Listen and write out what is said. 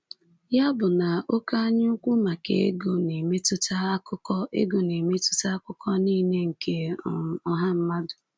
Ya bụ na oké anyaukwu maka ego na-emetụta akụkụ ego na-emetụta akụkụ niile nke um ọha mmadụ.